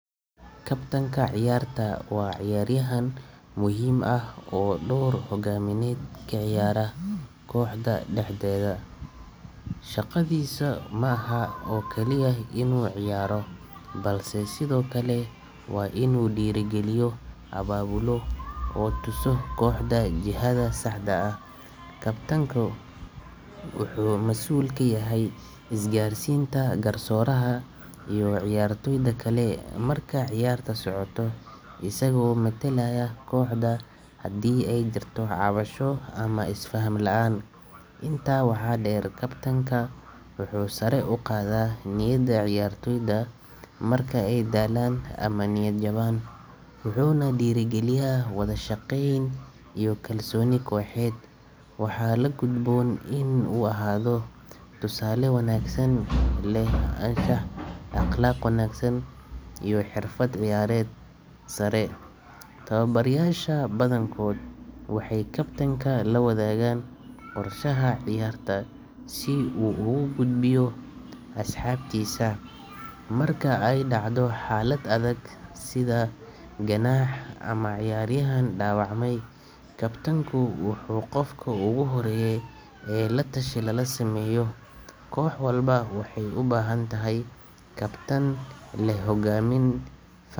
Kabtanka ciyaarta waa ciyaaryahan muhiim ah oo door hoggaamineed ka ciyaara kooxda dhexdeeda. Shaqadiisu ma aha oo kaliya inuu ciyaaro, balse sidoo kale waa inuu dhiirrigeliyo, abaabulo, oo tuso kooxda jihada saxda ah. Kabtanku wuxuu masuul ka yahay isgaarsiinta garsooraha iyo ciyaartoyda kale marka ciyaarta socoto, isagoo metelaya kooxda hadii ay jirto cabasho ama isfaham la’aan. Intaa waxaa dheer, kabtanka wuxuu sare u qaadaa niyadda ciyaartoyda marka ay daalaan ama niyadjabaan, wuxuuna dhiirrigeliyaa wada shaqeyn iyo kalsooni kooxeed. Waxaa la gudboon inuu ahaado tusaale wanaagsan, leh anshax, akhlaaq wanaagsan, iyo xirfad ciyaareed sare. Tababarayaasha badankood waxay kabtanka la wadaagaan qorshaha ciyaarta si uu ugu gudbiyo asxaabtiisa. Marka ay dhacdo xaalad adag sida ganaax ama cayaaryahan dhaawacmay, kabtanku waa qofka ugu horeeya ee la tashi lala sameeyo. Koox walba waxay u baahantahay kabtan leh hogaamin.